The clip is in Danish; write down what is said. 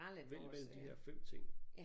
Vælg mellem de her 5 ting